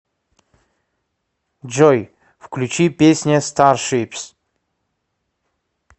джой включи песня старшипс